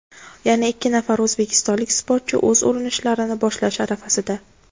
Yana ikki nafar o‘zbekistonlik sportchi o‘z urinishlarini boshlash arafasida.